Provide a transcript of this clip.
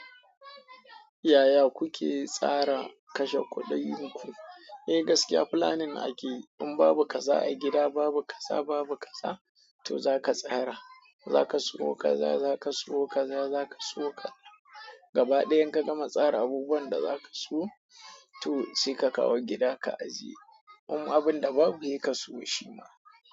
Yaya kuke tsara kashe kuɗinku? Eh gaskiya planning ake. In babu kaza a gida, babu kaza, babu kaza, to zaka tsara, zaka sayo kaza, zaka sayo kaza, zaka sayo ka. Gaba ɗaya in ka gama tsara abubuwan da za ka sayo to sai ka kawo gida ka ajiye. Um abun da babu, he ka sayo shi ma.